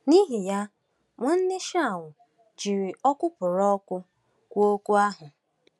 “N’ihi ya, Nwanne Shaw jiri ọkụpụrụ ọkụ kwuo okwu ahụ.